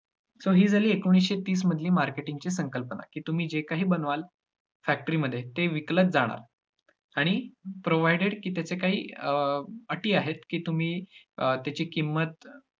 so ही झाली एकोणिसशे तीसमधली marketing ची संकल्पना. की तुम्ही जे काही बनवाल factory मध्ये ते विकलच जाणार आणि provided की त्याचे काही अटी आहेत, की तुम्ही अं त्याची किंमत